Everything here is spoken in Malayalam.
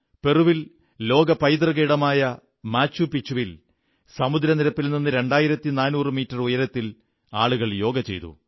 പെറുവിൽ ലോക പൈതൃക ഇടമായ മാച്ചു പിച്ചുവിൽ സമുദ്രനിരപ്പിൽനിന്ന് 2400 മീറ്റർ ഉയരത്തിൽ ആളുകൾ യോഗ ചെയ്തു